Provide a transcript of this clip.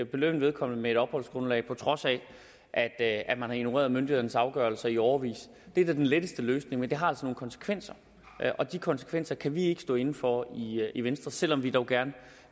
belønne vedkommende med et opholdsgrundlag på trods af at at man har ignoreret myndighedernes afgørelser i årevis det er da den letteste løsning men det har nogle konsekvenser og de konsekvenser kan vi ikke stå inde for i venstre selv om vi dog gerne